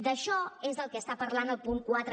d’això és del que està parlant el punt quatre